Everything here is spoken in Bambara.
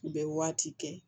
U bɛ waati kɛ